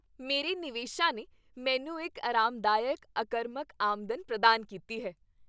ਮੇਰੇ ਨਿਵੇਸ਼ਾਂ ਨੇ ਮੈਨੂੰ ਇੱਕ ਆਰਾਮਦਾਇਕ ਅਕਰਮਕ ਆਮਦਨ ਪ੍ਰਦਾਨ ਕੀਤੀ ਹੈ।